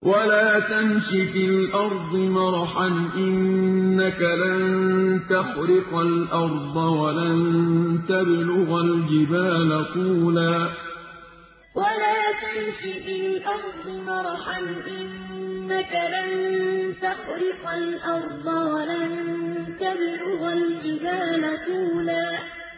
وَلَا تَمْشِ فِي الْأَرْضِ مَرَحًا ۖ إِنَّكَ لَن تَخْرِقَ الْأَرْضَ وَلَن تَبْلُغَ الْجِبَالَ طُولًا وَلَا تَمْشِ فِي الْأَرْضِ مَرَحًا ۖ إِنَّكَ لَن تَخْرِقَ الْأَرْضَ وَلَن تَبْلُغَ الْجِبَالَ طُولًا